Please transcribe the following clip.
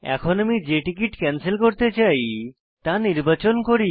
এখন আমি যে টিকিট ক্যানসেল করতে চাই তা নির্বাচন করি